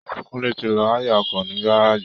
Kúnlé ti lọ háyà ọkọ̀ ní gárèjì